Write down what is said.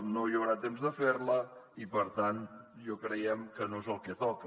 no hi haurà temps de fer la i per tant creiem que no és el que toca